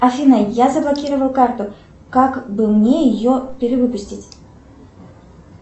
афина я заблокировала карту как бы мне ее перевыпустить